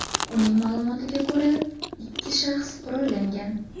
Uning ma’lumotiga ko‘ra, ikki shaxs qurollangan.